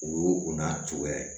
U y'o o n'a turu